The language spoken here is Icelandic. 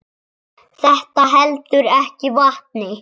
Þetta heldur ekki vatni.